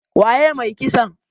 Waye mai kisan?